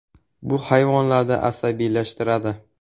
Bu hayvonlarni asabiylashtiradi.